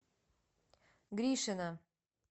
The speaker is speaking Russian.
гришина